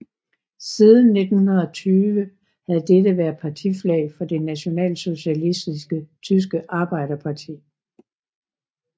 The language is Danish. Siden 1920 havde dette været partiflag for Det nationalsocialistiske tyske arbejderparti